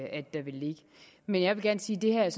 at der vil ligge men jeg vil gerne sige at det her